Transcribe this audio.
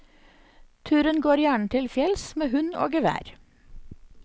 Turen går gjerne til fjells med hund og gevær.